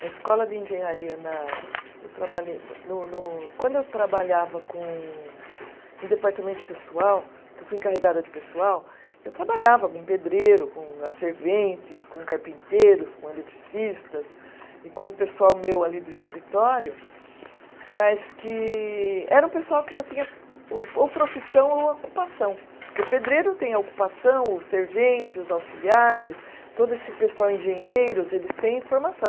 Na escola de engenharia na, eu trabalhei no no, quando eu trabalhava com, em departamento de pessoal, porque eu fui encarregada de pessoal, eu trabalhava com pedreiro, com as serventes, com carpinteiros, com eletricistas e com o pessoal meu ali do escritório, mas que era um pessoal que já tinha o, ou profissão ou ocupação, porque o pedreiro tem a ocupação, o servente, os auxiliares, todo esse pessoal, engenheiros, eles têm formação.